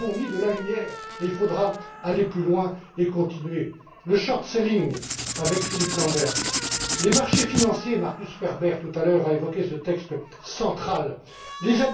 Nous avons mis de la lumière et il faudra aller plus loin et continuer le short selling avec Philippe Lamberts les marchés financiers Markus Ferber, tout à l'heure a évoqué ce texte central